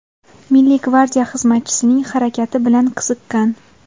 Milliy gvardiya xizmatchisining harakati bilan qiziqqan.